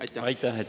Aitäh!